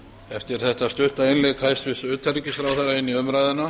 eftir þetta stutta innlegg hæstvirts utanríkisráðherra í umræðuna